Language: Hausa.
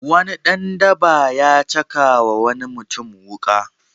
Wani dan daba ya caka wa wani mutum wuƙa.